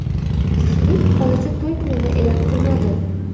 Juftlik hozircha to‘y kunini e’lon qilmadi.